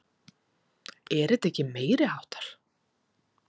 Er þetta ekki meiriháttar?